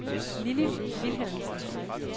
Lilly Vilhelmsen